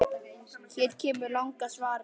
Hér kemur langa svarið